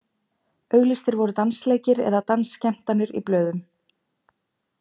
Auglýstir voru dansleikir eða dansskemmtanir í blöðum.